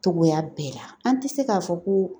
Cogoya bɛɛ la an tɛ se k'a fɔ ko